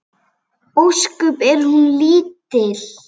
Ósköp er hún lítil.